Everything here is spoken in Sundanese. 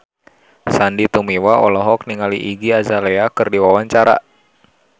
Sandy Tumiwa olohok ningali Iggy Azalea keur diwawancara